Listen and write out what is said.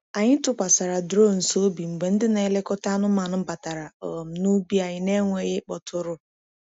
Anyị tụkwasịrị drones obi mgbe ndị na-elekọta anụmanụ batara um n’ubi anyị n’enweghị ịkpọtụrụ.